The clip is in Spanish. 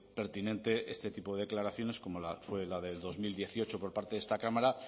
pertinente este tipo de declaraciones como fue la de dos mil dieciocho por parte de esta cámara